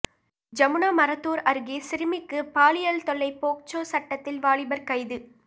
ஜமுனாமரத்தூர் அருகே சிறுமிக்கு பாலியல் தொல்லை போக்சோ சட்டத்தில் வாலிபர் கைது